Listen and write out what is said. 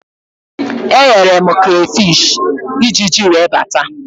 Eghere m krafish, Ijiji wee bata